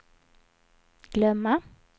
glömma